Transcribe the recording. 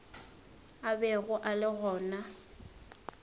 a bego a le gona